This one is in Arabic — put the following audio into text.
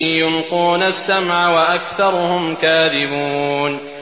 يُلْقُونَ السَّمْعَ وَأَكْثَرُهُمْ كَاذِبُونَ